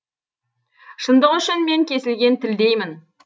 шындық үшін мен кесілген тілдеймін